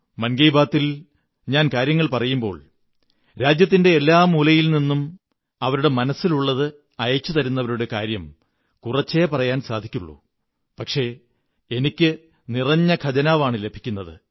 മൻ കീ ബാത്തിൽ ഞാൻ കാര്യങ്ങൾ പറയുമ്പോൾ രാജ്യത്തിന്റെ എല്ലാ മൂലകളിൽ നിന്നും അവരുടെ മനസ്സിലുള്ളത് അയച്ചുതരുന്നവരുടെ കാര്യം കുറച്ചേ പറയാൻ സാധിക്കാറുള്ളൂ പക്ഷേ എനിക്ക് നിറഞ്ഞ ഖജനവാണ് ലഭിക്കുന്നത്